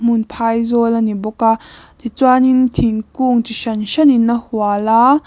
hmun phaizawl a ni bawk a tichuanin thingkung chi hran hranin a hual a